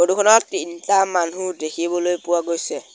Photo খনত তিনটা মানুহ দেখিবলৈ পোৱা গৈছে।